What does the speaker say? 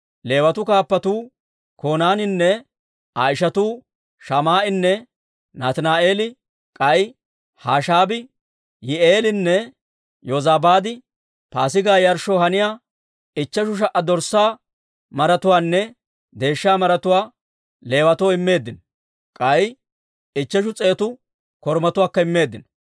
Leewatuu kaappatuu Konaaniinne Aa ishatuu Shamaa'enne Nataani'eeli, k'ay Hashaabii, Yi'i'eelinne Yozabaad Paasigaa yarshshoo haniyaa ichcheshu sha"a dorssaa maratuwaanne deeshsha maratuwaa Leewatoo immeeddino; k'ay ichcheshu s'eetu korumatuwaakka immeeddino.